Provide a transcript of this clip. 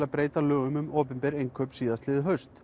að breyta lögum um opinber innkaup síðastliðið haust